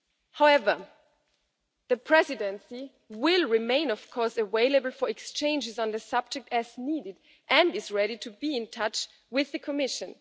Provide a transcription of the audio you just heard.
However, the Presidency will of course remain available for exchanges on the subject as needed, and is ready to be in touch with the Commission.